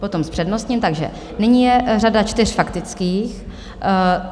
Potom s přednostním, takže nyní je řada čtyř faktických.